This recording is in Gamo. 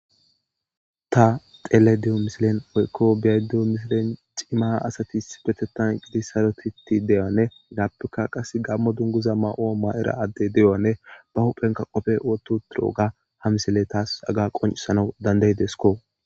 Ta xelayida diyo misilen woyiko beyayida dewu missileni cimma assati issipetethani eqiddi sarotitidi deyogga nne hegapeka gammo dumguza mayo mayoda adeyi deyuwagane ba huheni qobe wothidogga ha misileyi tassi qoncisesikko